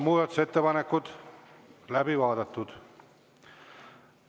Muudatusettepanekud on läbi vaadatud.